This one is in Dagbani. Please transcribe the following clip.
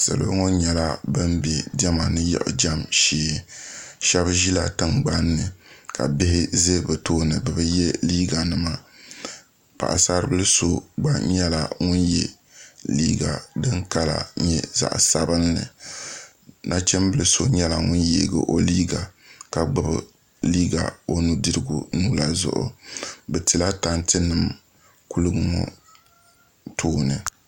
salo ŋo nyɛla bin bɛ diɛma ni yiɣijɛm shee shab ʒila tingbanni ka bihi ʒɛ bi tooni bi bi yɛ liiga nima paɣasaribili so gba nyɛla ŋun yɛ liiga din kala nyɛ zaɣ sabinli nachimbili so nyɛla ŋun yeegi o liiga ka gbubi liiga o nudirigu nuu la zuɣu bi tila tanti nim kuligi ŋo tooni